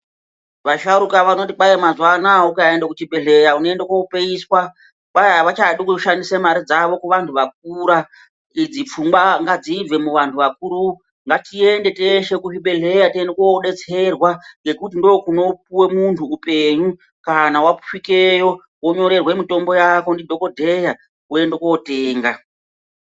Vasharuka vanoti mazuwanaya ukaende kuchibhehleya unoyenda kopeyiswa, kwai avachadi kushandisa mare dzavo kuvantu vakura. Idzi pfungwa ngadzibve muvanhu vakuru. Ngatiende teshe kuzvibhehleya tiende kodetserwa ngekuti ndokunopuwe muntu upenyu, kana wasvikeyo wonyoretwa mitombo yako nadhokodheya woenda kotenga.